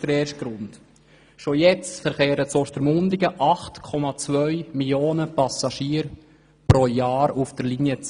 Bereits jetzt verkehren in Ostermundigen 8,2 Millionen Passagiere pro Jahr auf der Linie 10.